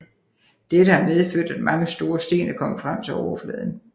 Dette har medført at mange store sten er kommet frem til overfladen